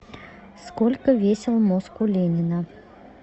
сколько весил мозг у ленина